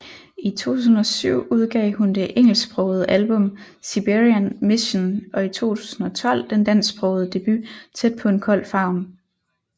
I 2007 udgav hun det engelsksprogede album Siberian Mission og i 2012 den dansksprogede debut Tæt På En Kold Favn